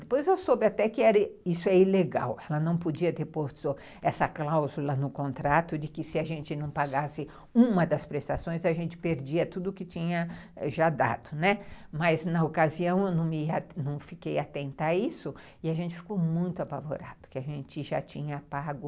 Depois eu soube até que isso é ilegal, ela não podia ter posto essa cláusula no contrato de que se a gente não pagasse uma das prestações a gente perdia tudo que tinha ãh já dado, não é? mas na ocasião eu não fiquei atenta a isso e a gente ficou muito apavorado que a gente já tinha pago